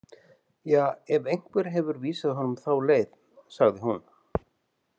Ja, ef einhver hefur vísað honum þá leið, sagði hún.